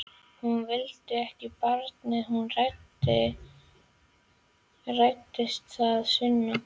Hún vildi ekki barnið, hún hræddist það, Sunna.